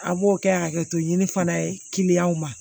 A b'o kɛ hakɛto ɲini fana ye kiliyanw ma